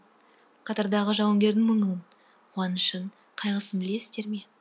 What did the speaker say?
қатардағы жауынгердің мұңын қуанышын қайғысын білесіздер ме